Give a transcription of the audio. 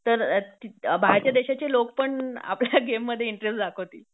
तर बाहेरच्या देशाचे लोक पण आपल्या गेम मध्ये इंटरेस्ट दाखवतील